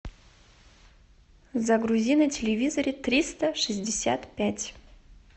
загрузи на телевизоре триста шестьдесят пять